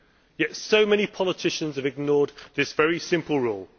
Yet so many politicians have ignored this very simple rule.